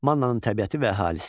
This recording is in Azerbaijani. Mannanın təbiəti və əhalisi.